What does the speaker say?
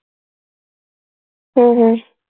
हम्म हम्म